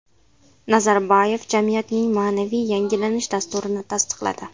Nazarboyev jamiyatning ma’naviy yangilanish dasturini tasdiqladi.